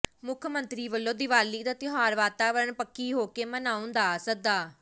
ਮੁੱਖ ਮੰਤਰੀ ਵੱਲੋਂ ਦੀਵਾਲੀ ਦਾ ਤਿਉਹਾਰ ਵਾਤਾਵਰਣ ਪੱਖੀ ਹੋ ਕੇ ਮਨਾਉਣ ਦਾ ਸੱਦਾ